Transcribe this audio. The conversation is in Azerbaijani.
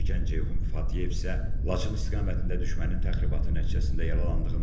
Zərər çəkən Ceyhun Fatiyev isə Laçın istiqamətində düşmənin təxribatı nəticəsində yaralandığını dedi.